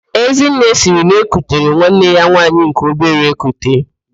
Ezinne sịrị na-ekutere nwanne ya nwaanyị nke obere ekute.